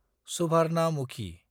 सुभारनामुखि